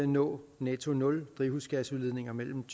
nå netto nul drivhusgasudledning mellem